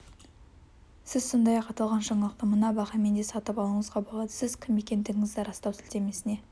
сіз сондай-ақ аталған жаңалықты мына бағамен де сатып алуыңызға болады сіз кім екендігіңізді растау сілтемесіне